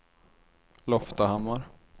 Loftahammar